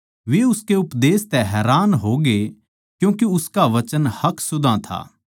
वे उसके उपदेश तै हैरान होगे क्यूँके उसका वचन हक सुधां था